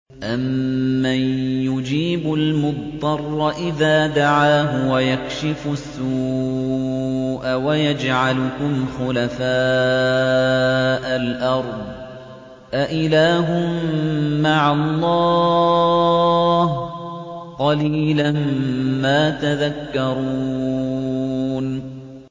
أَمَّن يُجِيبُ الْمُضْطَرَّ إِذَا دَعَاهُ وَيَكْشِفُ السُّوءَ وَيَجْعَلُكُمْ خُلَفَاءَ الْأَرْضِ ۗ أَإِلَٰهٌ مَّعَ اللَّهِ ۚ قَلِيلًا مَّا تَذَكَّرُونَ